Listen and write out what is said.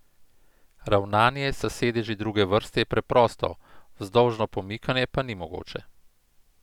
Ravnanje s sedeži druge vrste je preprosto, vzdolžno pomikanje pa ni mogoče.